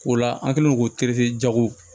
O la an kɛlen do k'o jago